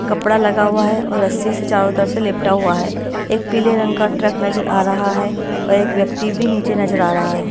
कपड़ा लगा हुआ है और रस्सी से चारों तरफ से लिपटा हुआ है एक पीले रंग का ट्रक नजर आ रहा है और एक व्यक्ति भी नीचे नजर आ रहा है।